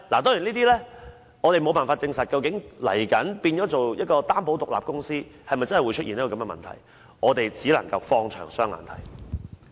當然，我們無法證實究竟未來變成擔保獨立公司後，是否真的會出現這個問題，我們只能放遠眼光來觀察。